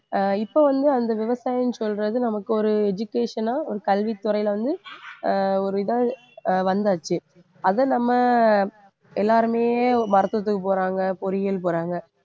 ஆஹ் இப்ப வந்து அந்த விவசாயன்னு சொல்றது நமக்கு ஒரு education ஆ ஒரு கல்வித்துறையில வந்து ஆஹ் ஒரு இதா ஆஹ் வந்தாச்சு அதை நம்ம எல்லாருமே மருத்துவத்துக்கு போறாங்க பொறியியல் போறாங்க